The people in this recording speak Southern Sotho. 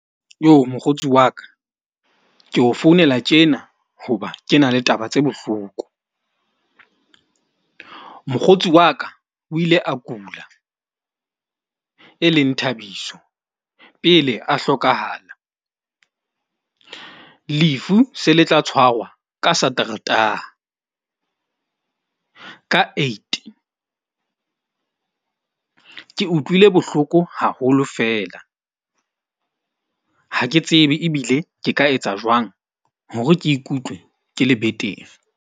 Mokgotsi wa ka ke o founela tjena, hoba ke na le taba tse bohloko. Mokgotsi wa ka o ile a kula, e leng Thabiso, pele a hlokahala. Lefu se le tla tshwarwa ka Sateretaha ka eight. Ke utlwile bohloko haholo fela ha ke tsebe ebile ke ka etsa jwang hore ke ikutlwe ke le betere.